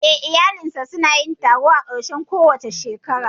Eh, iyalinsu su na yin taro a ƙarshen kowace shekara